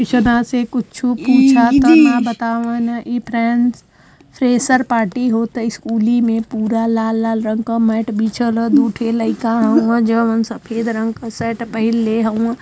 कुछु पूछा त ना बतावै न इ फ़्रेंस फ्रेशर पार्टी होत ह स्कूली में पूरा लाल लाल रंग क मैट बिछल दुठे लइका आवइ जउन सफ़ेद रंग क शर्ट पहिनले हउन।